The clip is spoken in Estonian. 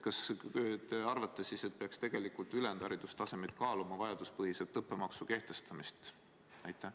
Kas te arvate siis, et peaks tegelikult ka muude haridusastmete puhul kaaluma vajaduspõhiselt õppemaksu kehtestamist?